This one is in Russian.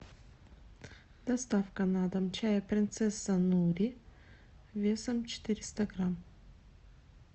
доставка на дом чая принцесса нури весом четыреста грамм